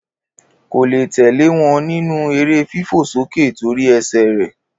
Kó le tẹlẹ wọn ní nù ere fifo soke to ri ese Re